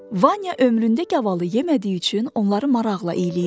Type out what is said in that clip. Vanya ömründə gavalı yemədiyi üçün onları maraqla eyləyirdi.